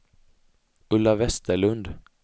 Ulla Vesterlund